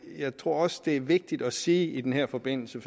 jeg tror også det er vigtigt at sige i den her forbindelse